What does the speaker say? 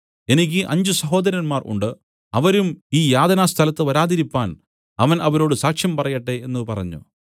എനിക്ക് അഞ്ച് സഹോദരന്മാർ ഉണ്ട് അവരും ഈ യാതനാസ്ഥലത്തു വരാതിരിപ്പാൻ അവൻ അവരോട് സാക്ഷ്യം പറയട്ടെ എന്നു പറഞ്ഞു